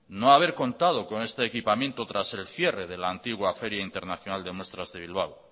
no haber contado con este equipamiento tras el cierre de la antigua feria internacional de muestras de bilbao